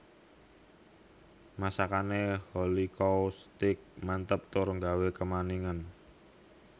Masakane Holycow Steak mantep tur nggawe kemaningen